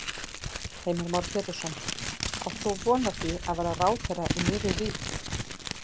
Heimir Már Pétursson: Átt þú von á því að verða ráðherra í nýrri rík?